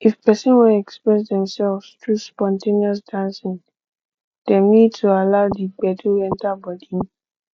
if person wan express themselves through spon ten ous dancing dem need to allow di gbedu enter bodi